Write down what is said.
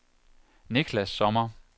Nicklas Sommer